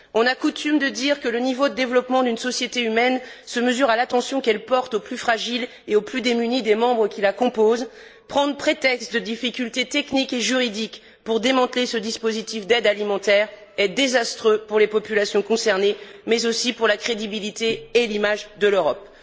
On a coutume de dire que le niveau de développement d'une société humaine se mesure à l'attention qu'elle porte aux plus fragiles et aux plus démunis des membres qui la composent. Prendre prétexte de difficultés techniques et juridiques pour démanteler ce dispositif d'aide alimentaire est désastreux pour les populations concernées, mais aussi pour la crédibilité et l'image de l'Europe.